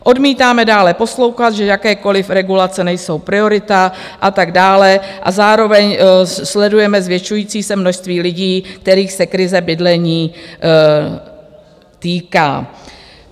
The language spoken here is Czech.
Odmítáme dále poslouchat, že jakékoli regulace nejsou priorita a tak dále, a zároveň sledujeme zvětšující se množství lidí, kterých se krize bydlení týká.